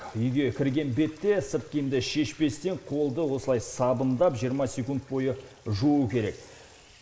үйге кірген бетте сырт киімді шешпестен қолды осылай сабындап жиырма секунд бойы жуу керек